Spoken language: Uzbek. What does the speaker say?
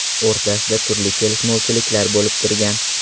o‘rtasida turli kelishmovchiliklar bo‘lib turgan.